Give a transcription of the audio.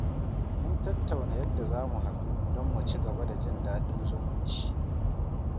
Mun tattauna yadda za mu haɗu don mu ci gaba da jin daɗin zumunci.